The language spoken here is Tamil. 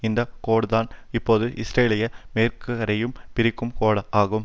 இந்த கோடுதான் இப்போது இஸ்ரேலையும் மேற்குக்கரையையும் பிரிக்கும் கோடாகும்